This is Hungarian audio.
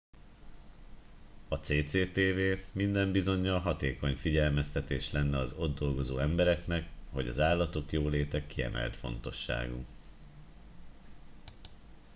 a cctv minden bizonyal hatékony figyelmeztetés lenne az ott dolgozó embereknek hogy az állatok jóléte kiemelt fontosságú